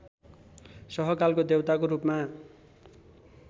सहकालको देउताको रूपमा